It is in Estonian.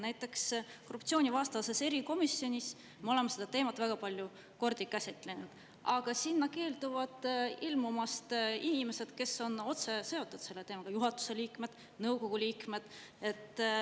Näiteks korruptsioonivastases erikomisjonis me oleme seda teemat väga palju kordi käsitlenud, aga sinna keelduvad ilmumast inimesed, kes on otseselt seotud selle teemaga: juhatuse liikmed, nõukogu liikmed.